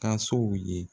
Kasow ye